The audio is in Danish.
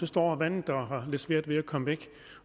står vandet der og har lidt svært ved at komme væk